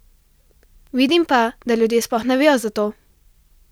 Vidim pa, da ljudje sploh ne vejo za to!